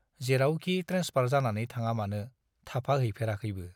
जेरावखि ट्रेन्सफार जानानै थाङामानो थाफाहैफेराखैबो।